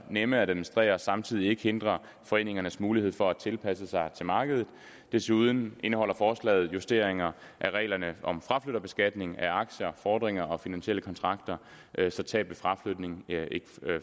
nemme at administrere og samtidig ikke hindrer foreningernes mulighed for at tilpasse sig til markedet desuden indeholder forslaget justeringer af reglerne om fraflytterbeskatning af aktier fordringer og finansielle kontrakter så tab ved fraflytning ikke